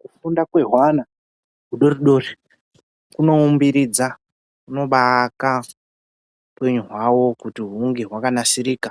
Kufunda kwehwana hudoridori kunoumbiridza kunobaaka hupenyu hwawo kuti hunge hwakanasirika